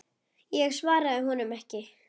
Ég svaraði honum ekki.